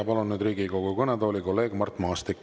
Ja palun nüüd Riigikogu kõnetooli kolleeg Mart Maastiku.